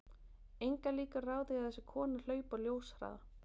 Engar líkur eru á því að þessi kona hlaupi á ljóshraða.